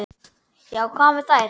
Já, hvað með þær?